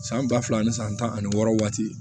San ba fila ni san tan ani wɔɔrɔ waati